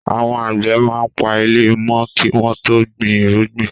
Àwọn àgbẹ̀ máa ń pa ilẹ̀ mọ́ kí wọ́n tó gbin irúgbìn.